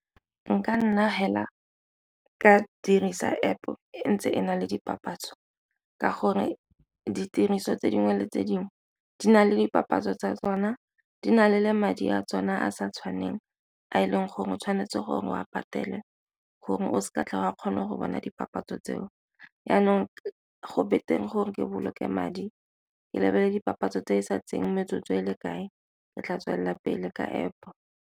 Nka nna fela ka dirisa App e ntse e na le dipapatso, ka gore ditiriso tse dingwe le tse dingwe di na le dipapatso tsa tsona, di na le madi a tsone a sa tshwaneng a e leng gore o tshwanetse gore o a patele gore o se ka tla ba kgone go bona dipapatso tseo. Jaanong go betere gore ke boloke madi ke lebelele dipapatso tse di sa tseyeng metsotso e le kae, ke tla tswelela pele ka App.